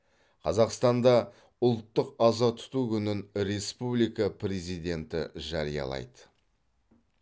қазақстанда ұлттық аза тұту күнін республика президенті жариялайды